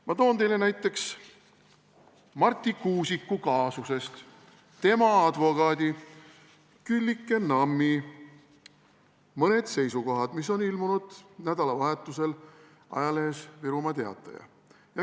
Ma toon teile näiteks Marti Kuusiku kaasusest tema advokaadi Küllike Nammi mõned seisukohad, mis on ilmunud nädalavahetusel ajalehes Virumaa Teataja.